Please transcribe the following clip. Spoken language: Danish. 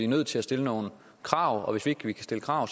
nødt til at stille nogle krav og hvis ikke vi kan stille krav